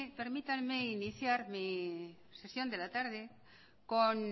permítanme iniciar mi sesión de la tarde con